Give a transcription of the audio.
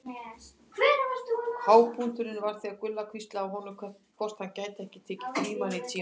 Hápunkturinn var þegar Gulla hvíslaði að honum hvort hann gæti ekki tekið Frímann í tíma.